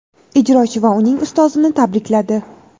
ijrochi va uning ustozini tabrikladi.